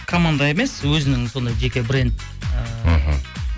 команда емес өзінің сондай жеке бренд ыыы іхі